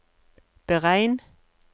beregn